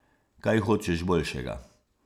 Kaj hočeš boljšega?